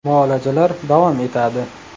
Muolajalar davom etadi.